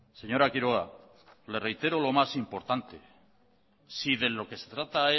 señora quiroga le reitero lo más importante si de lo que se trata